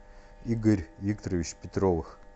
игорь викторович петровых